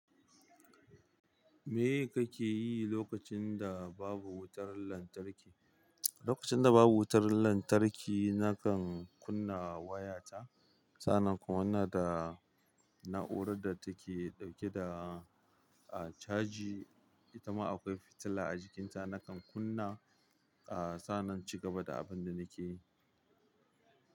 Me kake yi lokacin da babu wutar lantarki? Lokacin da babu wutar lantarki, nakan kunna wayata. Sannan kuma inaa da na'urar da take ɗauke da, ah, caji, itama akwai fitila a jikinta, nakan kunna, ah, sannan ci gaba da abin da nake yi.